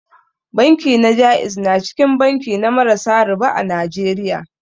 Banki na ja'iz na cikin banki na marasa riba a Najeriya.